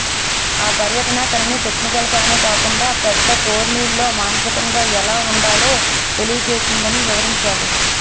ఆ పర్యటన తనని టెక్నికల్గానే కాకుండా పెద్ద టోర్నీల్లో మానసికంగా ఎలా ఆడాలో తెలియజేసిందని వివరించాడు